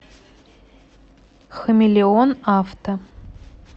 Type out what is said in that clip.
хамелеон авто